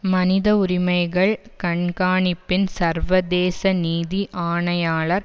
மனித உரிமைகள் கண்காணிப்பின் சர்வதேச நீதி ஆணையாளர்